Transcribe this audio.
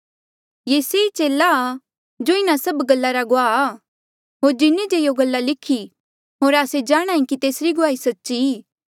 ये से ई चेला आ जो इन्हा सब गल्ला गुआह आ होर जिन्हें जे यों गल्ला लिखी होर आस्से जाणहां ऐें कि तेसरी गुआही सच्ची ई